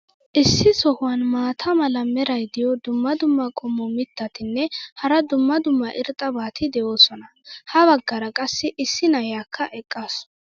issi sohuwan maata mala meray diyo dumma dumma qommo mitattinne hara dumma dumma irxxabati de'oosona. ha bagaara qassi issi na'iyaakka eqqaasu.